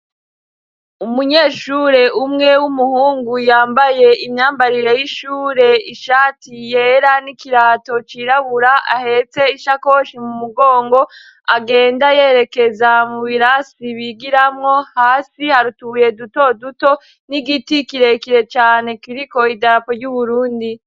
Umunyeshure umwe w'umuhungu yambaye imyambarire y'ishure ishati yera n'ikirato cirabura ahetse ishakoshi mu mugongo agenda yerekeza mu birasi bigiramwo hasi hari utubuye duto duto n'igiti kirekire cane kiriko idap ry'Uburundi.